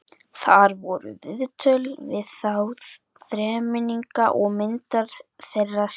Þar voru viðtöl við þá þremenninga og myndir þeirra sýndar.